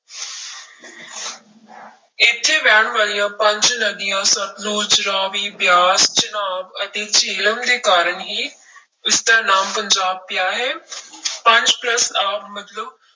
ਇੱਥੇ ਵਹਿਣ ਵਾਲੀਆਂ ਪੰਜ ਨਦੀਆਂ ਸਤਲੁਜ, ਰਾਵੀ, ਬਿਆਸ, ਚਨਾਬ ਅਤੇ ਜਿਹਲਮ ਦੇ ਕਾਰਨ ਹੀ ਇਸਦਾ ਨਾਮ ਪੰਜਾਬ ਪਿਆ ਹੈ ਪੰਜ plus ਆਬ ਮਤਲਬ